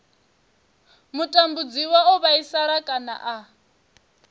mutambudziwa o vhaisala kana a